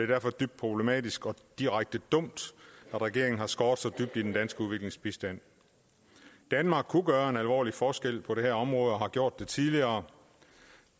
derfor dybt problematisk og direkte dumt at regeringen har skåret så dybt i den danske udviklingsbistand danmark kunne gøre en alvorlig forskel på det her område og har gjort det tidligere